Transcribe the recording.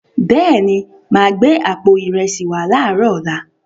Bẹ́ẹ̀ni, ma gbẹ̀ àpò ìrẹsí wà láàrọ ọla.